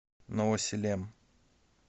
новосилем